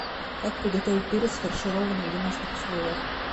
как приготовить перец фаршированный в домашних условиях